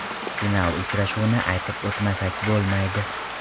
Final uchrashuvini aytib o‘tmasak bo‘lmaydi.